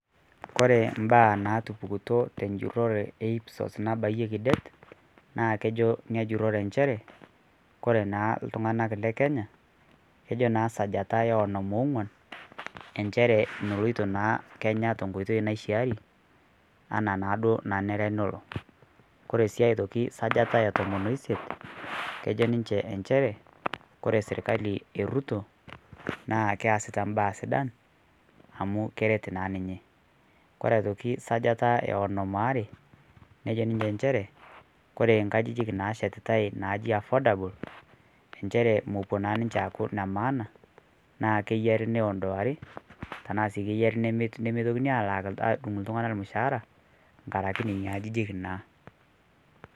Kore mbaa naatupukuto tenjurore e IPSOS nabayieki det, naa kejoo nia njurore ncheere kore naa ltung'anak le Kenya kejoo naa sajata e onom owuan nchere meoloito naa Kenya te nkootei naishaari anaa naa doo nanere loo. Kore sii aitoki sajata etomoon osiet kejoo ninchee nchere kore sirikali e Ruto naa keesita mbaa sidaan amu keret naa ninye. Kore aitoki sajata e onoom oare nejoo ninye ncheere kore nkaajijik naashetitai najii affordable nchere mopoo naa ninche aaku ne maana naa keiyaari neondoaki tana sii keiyaari nemeitokini alaak aadung' ltung'ana mushaara ng'araki nenia ajijik naa.